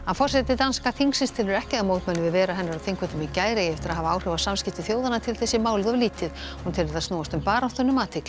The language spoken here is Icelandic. forseti danska þingsins telur ekki að mótmæli við veru hennar á Þingvöllum í gær eigi eftir að hafa áhrif á samskipti þjóðanna til þess sé málið of lítið hún telur það snúast um baráttuna um athygli